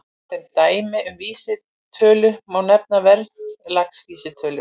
Sem dæmi um vísitölur má nefna verðlagsvísitölur.